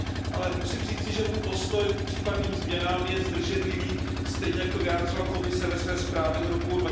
Ale musím říci, že můj postoj k případným změnám je zdrženlivý, stejně jako to vyjádřila Komise ve své zprávě z roku